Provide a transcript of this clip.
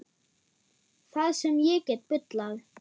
Það sem ég get bullað.